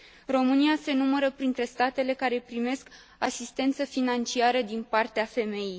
România se numără printre statele care primesc asistență financiară din partea FMI.